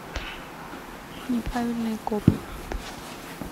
неправильные копы